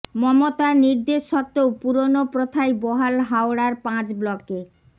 মমতার নির্দেশ সত্ত্বেও পুরনো প্রথাই বহাল হাওড়ার পাঁচ ব্লকে